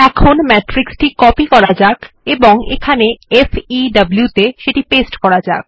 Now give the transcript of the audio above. matrix টি copy করুন এবং FEW ত়ে সেটি পেস্ট করা যাক